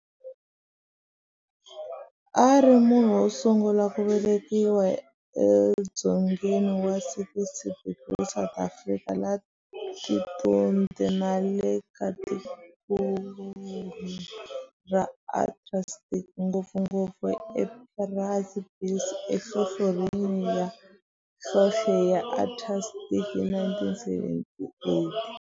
A ri munhu wosungula ku velekiwa e dzongeni wa 60 degrees south latitude nale ka tikonkulu ra Antarctic, ngopfungopfu e Esperanza Base enhlohlorhini ya nhlonhle ya Antarctic hi 1978.